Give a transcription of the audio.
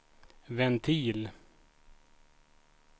ventil